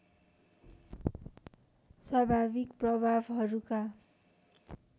स्वाभाविक प्रभावहरूका